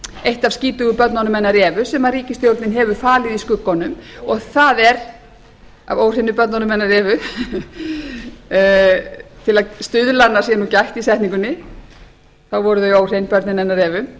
eitt af skítugu börnunum hennar evu sem ríkisstjórn hefur falið í skuggunum og það er af óhreinu börnunum hennar evu svo að stuðlanna sé nú gætt í setningunni þá voru þau óhrein börnin hennar evu